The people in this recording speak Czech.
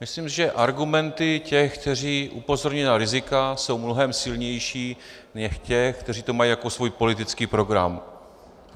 Myslím, že argumenty těch, kteří upozorňují na rizika, jsou mnohem silnější než těch, kteří to mají jako svůj politický program.